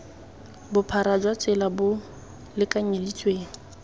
bophara jwa tsela bo lekanyeditsweng